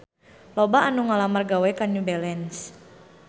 Loba anu ngalamar gawe ka New Balance